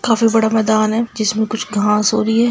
काफी बड़ा मैदान है जिसमे कुछ घास हो रही है |